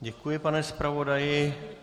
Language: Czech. Děkuji, pane zpravodaji.